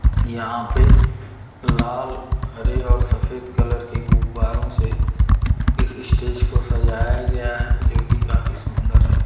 यहां पे लाल हरे और सफेद कलर के गुब्बारों से इस स्टेज को सजाया गया है जो कि काफी सुंदर है।